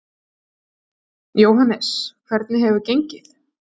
Jóhannes: Hvernig hefur gengið?